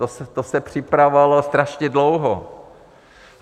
To se připravovalo strašně dlouho.